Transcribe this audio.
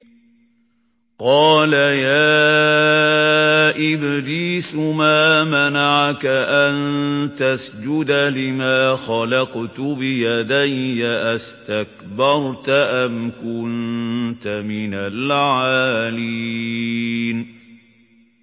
قَالَ يَا إِبْلِيسُ مَا مَنَعَكَ أَن تَسْجُدَ لِمَا خَلَقْتُ بِيَدَيَّ ۖ أَسْتَكْبَرْتَ أَمْ كُنتَ مِنَ الْعَالِينَ